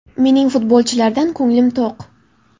Mening futbolchilardan ko‘nglim to‘q.